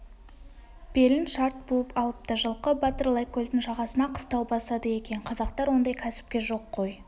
белін шарт буып алыпты жылқы батыр лайкөлдің жағасына қыстау басады екен қазақтар ондай кәсіпке жоқ кой